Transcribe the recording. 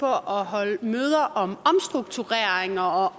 holde møder om omstruktureringer og